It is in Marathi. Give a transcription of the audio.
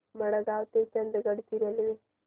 मडगाव ते चंडीगढ ची रेल्वे